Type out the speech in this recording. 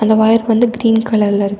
அந்த ஒயர் வந்து கீரீன் கலர்ல இருக்கு.